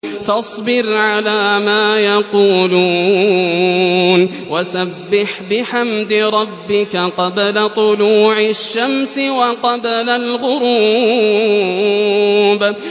فَاصْبِرْ عَلَىٰ مَا يَقُولُونَ وَسَبِّحْ بِحَمْدِ رَبِّكَ قَبْلَ طُلُوعِ الشَّمْسِ وَقَبْلَ الْغُرُوبِ